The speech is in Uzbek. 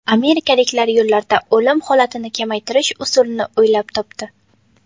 Amerikaliklar yo‘llarda o‘lim holatini kamaytirish usulini o‘ylab topdi.